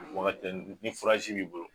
Waagatinin ni b'i bolo.